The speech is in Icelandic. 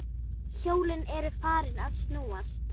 Hjólin eru farin að snúast